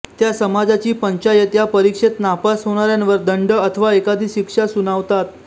त्या समाजाची पंचायत या परिक्षेत नापास होणाऱ्यांवर दंड अथवा एखादी शिक्षा सुनावतात